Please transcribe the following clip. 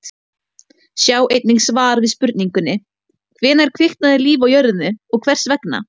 Sjá einnig svar við spurningunni: Hvenær kviknaði líf á jörðinni og hvers vegna?